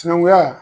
Sinankunya